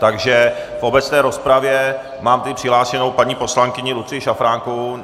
Takže v obecné rozpravě mám tady přihlášenou paní poslankyni Lucii Šafránkovou.